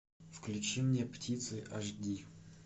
включи мне птицы аш ди